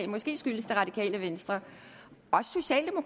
måske skyldes det radikale venstre